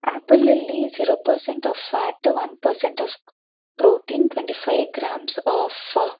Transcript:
Apple ಲ್ಲಿ zero percent of fat one percent of protein twenty five grams of .